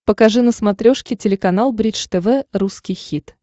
покажи на смотрешке телеканал бридж тв русский хит